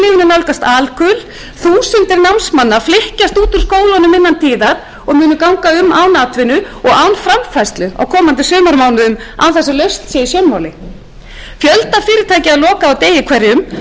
nálgast alkul þúsundir námsmanna flykkjast út úr skólunum innan tíðar og munu ganga um án atvinnu og án framfærslu á komandi sumarmánuðum án þess að lausn sé í sjónmáli fjölda fyrirtækja er lokað á degi hverjum og